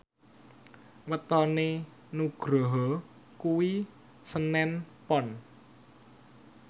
wetone Nugroho kuwi senen Pon